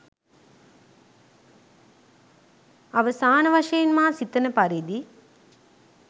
අවසාන වශයෙන් මා සිතන පරිදි